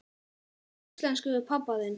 Tala íslensku við pabba þinn?